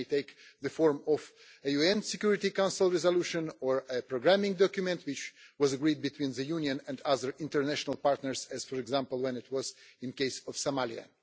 This may take the form of a UN Security Council resolution or a programming document agreed between the Union and other international partners as, for example, as it was with the case of Somalia.